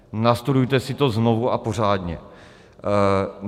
Nastudujte si to znovu a pořádně.